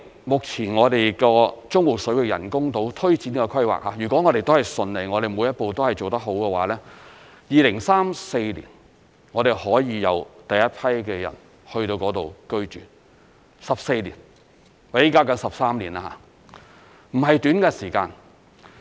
目前，中部水域人工島推展的規劃，如果順利、每一步也做得好的話 ，2034 年可以有第一批人進去居住，即現時起計13年，並不是短的時間。